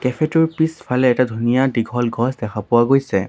Cafe টোৰ পিছফালে এটা ধুনীয়া দীঘল গছ দেখা পোৱা গৈছে।